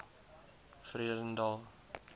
vredendal